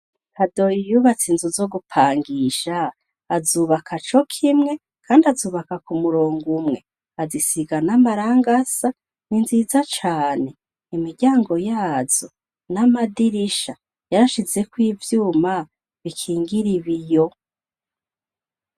Kadoyi yubatse inzu zo gupangisha kandi azubaka co kimwe azubaka k'umurongo umwe azisiga n'amarangi asa ninziza cane imiryanago yazo n'amadirisha yarashizeko ivyuma bikingira ibiyo .